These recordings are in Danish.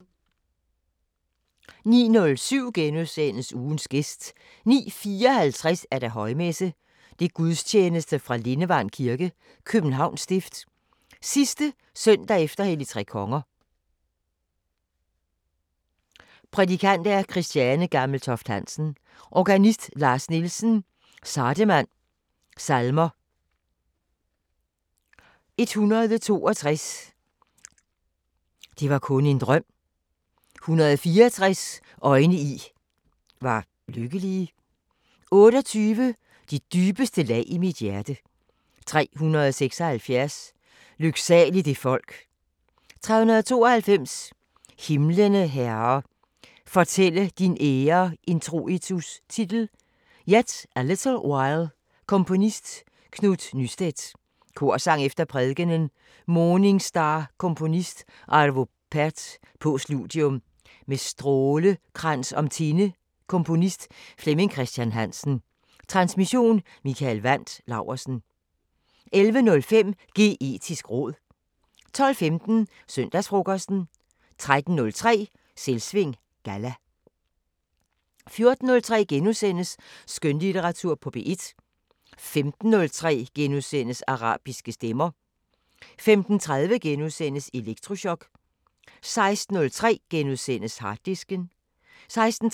14:03: Skønlitteratur på P1 * 15:03: Arabiske Stemmer * 15:30: Elektrochok * 16:03: Harddisken * 16:33: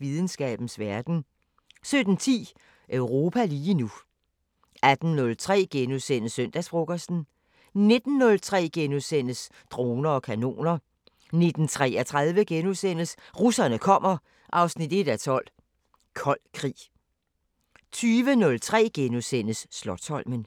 Videnskabens Verden * 17:10: Europa lige nu 18:03: Søndagsfrokosten * 19:03: Droner og kanoner * 19:33: Russerne kommer 1:12 – Kold Krig * 20:03: Slotsholmen *